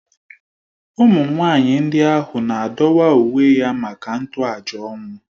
Ụmụ nwaanyị ndị ahụ na-adọwa uwe ya maka ntoaja ọnwụ